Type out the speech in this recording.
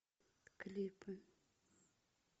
клипы